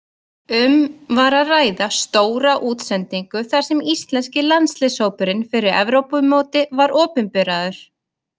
Um var að ræða stóra útsendingu þar sem íslenski landsliðshópurinn fyrir Evrópumótið var opinberaður.